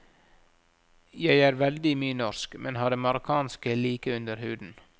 Jeg er veldig mye norsk, men har det marokkanske like under huden.